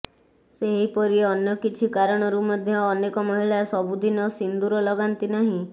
ସେହିପରି ଅନ୍ୟ କିଛି କାରଣରୁ ମଧ୍ୟ ଅନେକ ମହିଳା ସବୁଦିନ ସିନ୍ଦୁର ଲଗାନ୍ତି ନାହିଁ